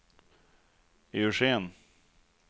Eugén